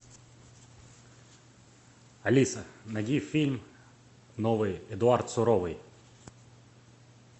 алиса найди фильм новый эдуард суровый